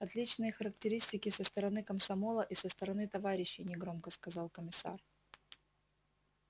отличные характеристики со стороны комсомола и со стороны товарищей негромко сказал комиссар